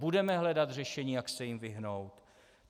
Budeme hledat řešení, jak se jim vyhnout?